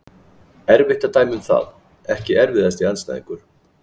Erfitt að dæma um það Ekki erfiðasti andstæðingur?